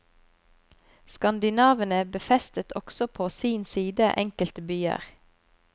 Skandinavene befestet også på sin side enkelte byer.